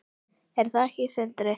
Er það ekki Sindri?